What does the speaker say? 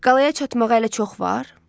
Qalaya çatmağa hələ çox var?